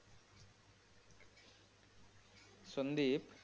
Sandeep.